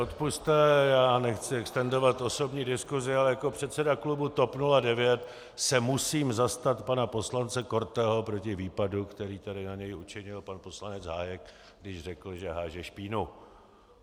Odpusťte, já nechci extendovat osobní diskusi, ale jako předseda klubu TOP 09 se musím zastat pana poslance Korteho proti výpadu, který tady na něho učinil pan poslanec Hájek, když řekl, že háže špínu.